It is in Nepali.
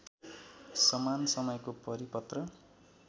समान समयको परिपत्र